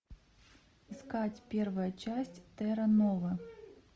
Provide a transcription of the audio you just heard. искать первая часть терра нова